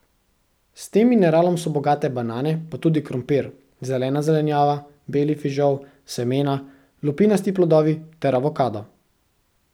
S tem mineralom so bogate banane pa tudi krompir, zelena zelenjava, beli fižol, semena, lupinasti plodovi ter avokado.